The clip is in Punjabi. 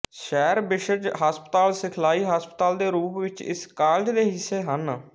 ਸੈਰਵਿਸਜ਼ ਹਸਪਤਾਲ ਸਿਖਲਾਈ ਹਸਪਤਾਲ ਦੇ ਰੂਪ ਵਿੱਚ ਇਸ ਕਾਲਜ ਦੇ ਹਿੱਸੇ ਹਨ